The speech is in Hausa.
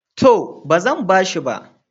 To, ba zan ba shi ba.